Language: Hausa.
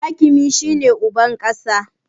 Hakimi shi ne uban ƙasa